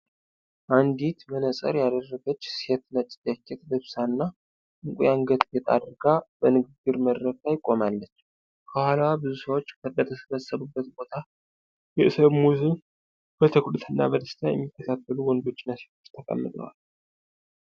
አንዲት መነጽር ያደረገች ሴት ነጭ ጃኬት ለብሳና ዕንቁ የአንገት ጌጥ አድርጋ፣ በንግግር መድረክ ላይ ቆማለች። ከኋላዋ ብዙ ሰዎች በተሰበሰቡበት ቦታ፣ የሰሙትን በትኩረትና በደስታ የሚከታተሉ ወንዶችና ሴቶች ተቀምጠዋል።